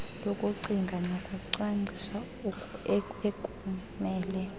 lokucinga nokucwangcisa ekumele